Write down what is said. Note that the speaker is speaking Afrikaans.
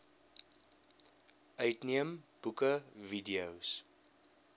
uitneem boeke videos